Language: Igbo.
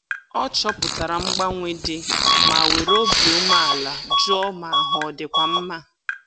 Ọ chọpụtara mgbanwe dị ma were obi umeala jụọ ma ahụ ọ dịkwa mma